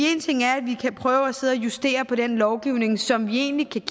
én ting er at vi kan prøve at sidde og justere på den lovgivning som vi egentlig kan